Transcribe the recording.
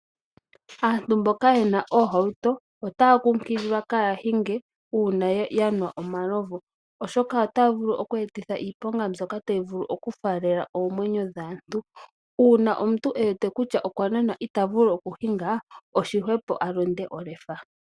Aantu mboka yena oohauto otaya kunkililwa kaya hinge uuna yanwa omalovu, oshoka otaya vulu oku etitha iiponga mbyoka tayi vulu okufalela oomwenyo dhaantu. Uuna omuntu ewete kutya okwa nwa na ita vulu oku hinga, oshihwepo a londe olefa.